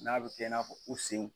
N'a bɛ kɛ n'a fɔ u sen